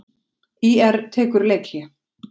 ÍR tekur leikhlé